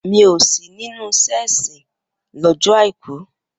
Mi ò sí nínú iṣẹ́ ìsìn lọ́jọ́ Àìkú.